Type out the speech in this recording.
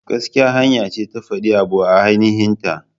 Gaskiya hanya ce ta fadin abu a aininhin ta.